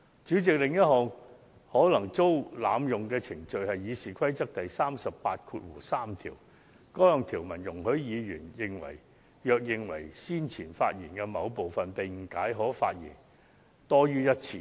主席，另一項可能遭濫用的程序是《議事規則》第383條。該項條文容許議員若認為先前發言的某部分被誤解，便可再次發言。